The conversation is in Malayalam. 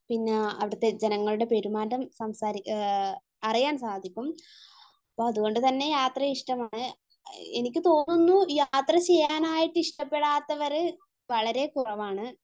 പിന്നെ അവിടുത്തെ ജനങ്ങളുടെ പെരുമാറ്റം, സംസാരം അറിയാൻ സാധിക്കും. അപ്പൊ അതുകൊണ്ട് തന്നെ യാത്രയെ ഇഷ്ടമാണ് . എനിക്ക് തോന്നുന്നു യാത്ര ചെയ്യാനായിട്ട് ഇഷ്ടപ്പെടാത്തവര് വളരെ കുറവാണ്.